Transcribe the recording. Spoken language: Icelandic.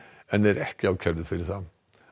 en er ekki ákærður fyrir það